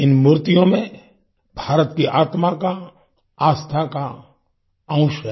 इन मूर्तियों में भारत की आत्मा का आस्था का अंश है